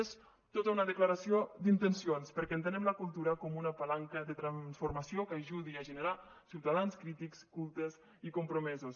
és tota una declaració d’intencions perquè entenem la cultura com una palanca de transformació que ajudi a generar ciutadans crítics cultes i compromesos